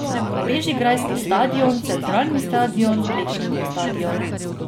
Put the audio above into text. Bežigrajski stadion, Centralni stadion, Plečnikov stadion.